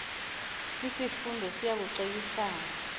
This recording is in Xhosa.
kwisifundo siya kucebisana